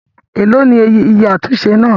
Èlò ni iye àtúnṣe náà?